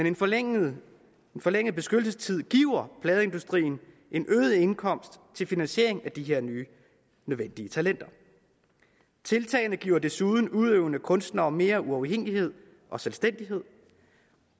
en forlænget forlænget beskyttelsestid giver pladeindustrien en øget indkomst til finansiering af de her nye nødvendige talenter tiltagene giver desuden udøvende kunstnere mere uafhængighed og selvstændighed